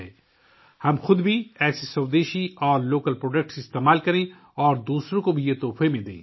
ہمیں خود بھی ایسی دیسی اور مقامی مصنوعات کو استعمال کرنا چاہیے اور دوسروں کو بھی تحفہ دینا چاہیے